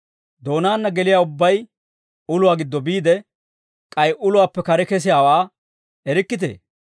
Doonaana geliyaa ubbay uluwaa giddo biide, k'ay uluwaappe kare kesiyaawaa erikkitee?